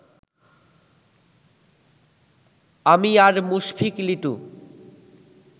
আমি আর মুশফিক লিটু